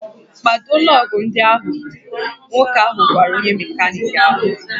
"Kpado lọọgụ̀ ndị ahụ! "Nwoke ahụ gwara onye mekaniki ahụ"